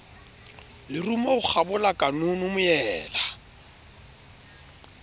lerumo ho kgabola kanono moela